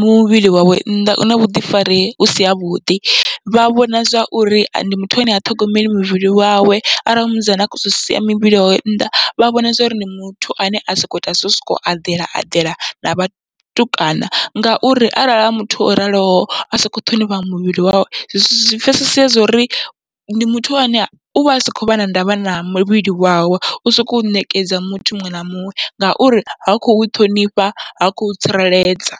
muvhili wawe nnḓa una vhuḓifari husi havhuḓi, vha vhona zwauri ndi muthu ane ha ṱhogomeli muvhili wawe arali a musidzana a khou sia muvhili wawe nnḓa, vha vhona zwauri muthu ane a soko ita zwo u sokou aḓela eḓela na vhatukana. Ngauri arali a muthu o raloho asa akho ṱhonifhaho muvhili wawe zwi pfhesesa zwo uri ndi muthu ane uvha asa khovha na ndavha na muvhili wawe, u sokou ṋekedza muthu muṅwe na muṅwe ngauri ha khou ṱhonifha ha khou tsireledza.